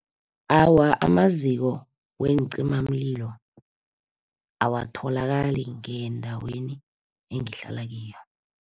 Awa, amaziko weencimamlilo awatholakali ngendaweni engihlala kiyo.